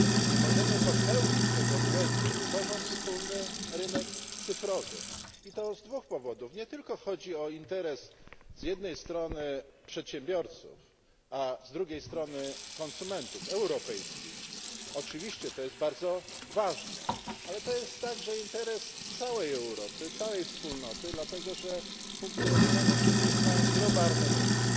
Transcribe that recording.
Nie możemy popełnić tego błędu, tworząc wspólny rynek cyfrowy, i to z dwóch powodów nie tylko chodzi o interes z jednej strony przedsiębiorców a z drugiej strony konsumentów europejskich oczywiście to jest bardzo ważne ale to jest także interes całej Europy, całej Wspólnoty, dlatego że funkcjonujemy przecież na globalnym rynku.